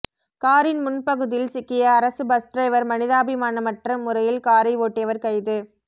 காரின் முன்பகுதியில் சிக்கிய அரசு பஸ் டிரைவர் மனிதாபிமானமற்ற முறையில் காரை ஓட்டியவர் கைது